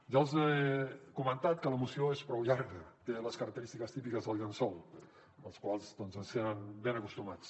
ja els he comentat que la moció és prou llarga té les característiques típiques del llençol als quals doncs ens tenen ben acostumats